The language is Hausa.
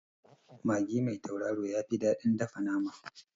Magi mai tauraro yafi daɗin dafa nama